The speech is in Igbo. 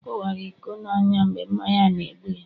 ọ kuwara iko n'anya, mgbe mmanya n' egbu ya